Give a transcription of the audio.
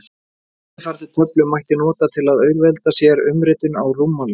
Eftirfarandi töflu mætti nota til að auðvelda sér umritun á rúmmáli.